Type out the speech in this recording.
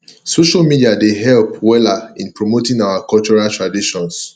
social media dey help weller in promoting our cultural traditions